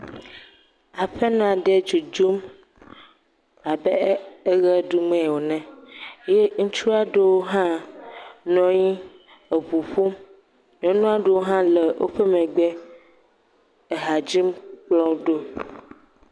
aƒenɔ ɖe dzodzom abe eɣe ɖum wonɔ ene ye ŋutsuɔ ɖoo hã nɔnyi eʋuƒom nyɔnuɔ ɖewo hã le wóƒe megbe ehadzim kplɔwo ɖó